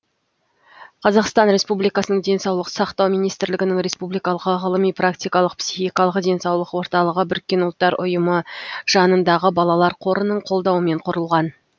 қазақстан республикасының денсаулық сақтау министрлігінің республикалық ғылыми практикалық психикалық денсаулық орталығы біріккен ұлттар ұйымы жанындағы балалар қорының қолдауымен құрылған